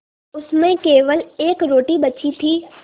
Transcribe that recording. उसमें केवल एक रोटी बची थी